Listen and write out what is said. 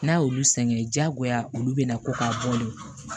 N'a y'olu sɛgɛn diyagoya olu bɛna ko k'a bɔ le